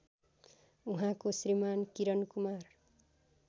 उहाँको श्रीमान् किरणकुमार